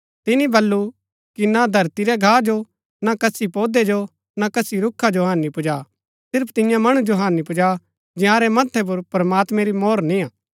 तिनी बल्लू कि ना धरती रै घा जो ना कसी पोधै जो ना कसी रूखा जो हानि पुजा सिर्फ तियां मणु जो हानि पुजा जंयारै मथ्थै पुर प्रमात्मैं री मोहर निय्आ